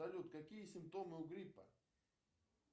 салют какие симптомы у гриппа